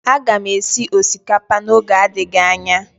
Aga m esi osikapa n'oge adịghị anya